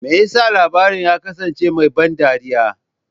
Me yasa labarin ya kasance mai ban dariya?